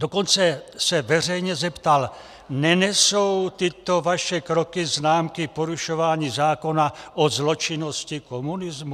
Dokonce se veřejně zeptal: Nenesou tyto vaše kroky známky porušování zákona o zločinnosti komunismu?